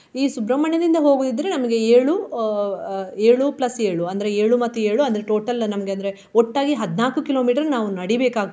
ಈ ಸುಬ್ರಮಣ್ಯದಿಂದ ಹೋಗುವುದಿದ್ರೆ ನಮ್ಗೆ ಏಳು ಆ ಅಹ್ ಏಳು plus ಏಳು ಅಂದ್ರೆ ಏಳು ಮತ್ತೆ ಏಳು ಅಂದ್ರೆ total ನಮ್ಗೆ ಅಂದ್ರೆ ಒಟ್ಟಾಗಿ ಹದ್ನಾಲ್ಕು kilometre ನಾವು ನಡಿಬೇಕಾಗ್ತದೆ.